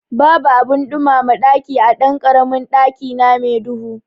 Babu abin ɗumama ɗaki a ɗankaramin ɗakina me duhu